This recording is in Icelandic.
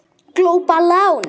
Glópa lán